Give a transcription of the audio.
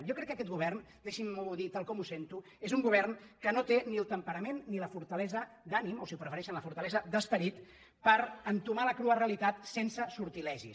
jo crec que aquest govern deixin·m’ho dir tal com ho sento és un govern que no té ni el temperament ni la fortale·sa d’ànim o si ho prefereixen la fortalesa d’esperit per entomar la crua realitat sense sortilegis